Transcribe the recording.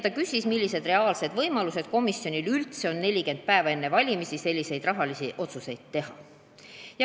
Ta küsis, millised reaalsed võimalused komisjonil üldse on 40 päeva enne valimisi selliseid rahalisi otsuseid teha.